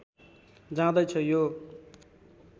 जाँदै छ यो